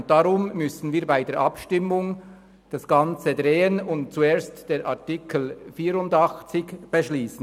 Deshalb müssen wir bei der Abstimmung das Ganze drehen und zuerst über den Artikel 84 beschliessen.